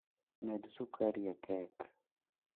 Med sukari e kek